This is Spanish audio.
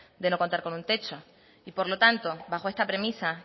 de no contar con un techo y por lo tanto bajo esta premisa